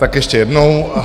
Tak ještě jednou.